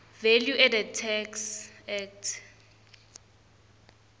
valueadded tax act